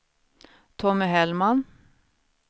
Tommy Hellman